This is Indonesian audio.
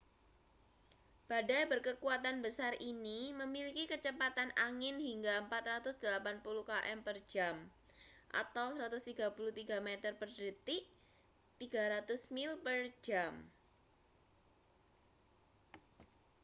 badai berkekuatan besar ini memiliki kecepatan angin hingga 480 km/jam 133 m/dtk; 300 mil per jam